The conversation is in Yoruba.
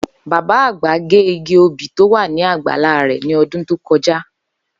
Bàbá àgbà gé igi obì tó wà ní àgbálá rè̩ ní o̩dún tó ko̩já